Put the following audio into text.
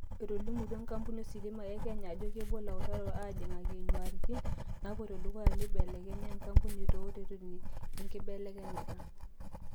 Etolimuto enkampuni ositima e Kenya ajo kepuo ilautarok aajingaki nyuaritin napoito dukuya naibelekenyia enkapuni tooreteni le nkibelekenyata.